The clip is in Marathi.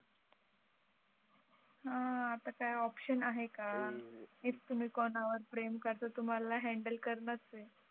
हां, आता काय ऑप्शन आहे का इफ तुम्ही कोणा वर प्रेम करतो तुम्हाला हॅंडल करणार आहे.